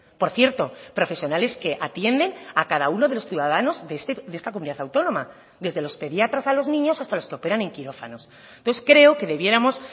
por cierto profesionales que atienden a cada uno de los ciudadanos de esta comunidad autónoma desde los pediatras a los niños hasta los que operan en quirófanos entonces creo que debiéramos